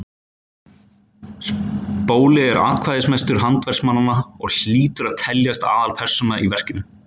Spóli er atkvæðamestur handverksmannanna og hlýtur að teljast aðalpersóna í verkinu.